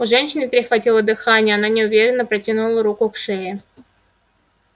у женщины перехватило дыхание она неуверенно протянула руку к шее